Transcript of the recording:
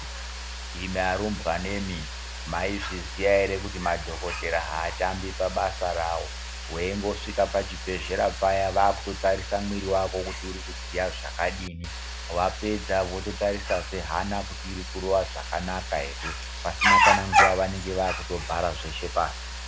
Imi arumbwana imi mai zviziya ere kuti madhokotera hatambi pabasa ravo weingo svika pa chibhedhlera paya vaku tarisa mwiri wako kuti uri kudziya zvakadini wapedza woto tarisa zve hana kuti iri kurova zvakanaka ere pasina kana nguva vanenge vakuto bhara zveshe pasi.